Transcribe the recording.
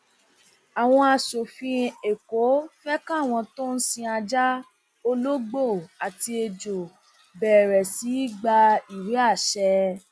àwọn aṣòfin èkó fẹ káwọn tó ń sin ajá ológbò àti ẹjọ bẹrẹ sí í gba ìwé àṣẹ